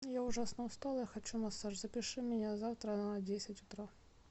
я ужасно устала я хочу массаж запиши меня на завтра на десять утра